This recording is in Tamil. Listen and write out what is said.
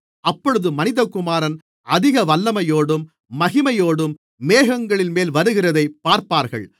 அப்பொழுது மனிதகுமாரன் அதிக வல்லமையோடும் மகிமையோடும் மேகங்களின்மேல் வருகிறதைப் பார்ப்பார்கள்